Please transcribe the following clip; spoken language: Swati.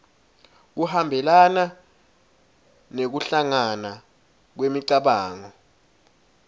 kuhambelana nekuhlangana kwemicabango